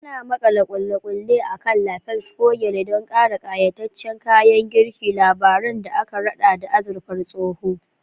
Ana makala ƙulle-ƙulle a kan lapels ko gyale don ƙara ƙayataccen kayan girki, labaran da aka raɗa da azurfar tsoho.